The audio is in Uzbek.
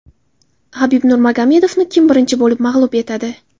Habib Nurmagomedovni kim birinchi bo‘lib mag‘lub etadi?